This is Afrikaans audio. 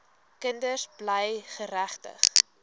kinders bly geregtig